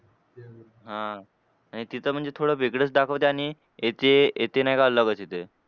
हां. आणि तिथं म्हणजे थोडं वेगळंच दाखवते आणि येते येते ना काय अलगच येते.